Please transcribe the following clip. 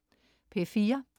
P4: